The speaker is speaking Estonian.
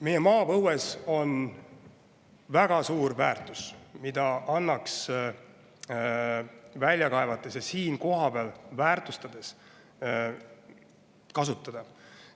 Meie maapõues on väga suur väärtus, mida annaks välja kaevates ja siin kohapeal kasutada.